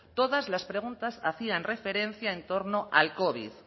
todas las preguntas hacían referencia en torno al covid